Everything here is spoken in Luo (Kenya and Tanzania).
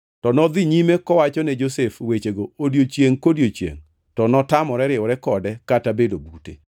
To nodhi nyime kowachone Josef wechego odiechiengʼ kodiechiengʼ, to notamore riwore kode kata bedo bute.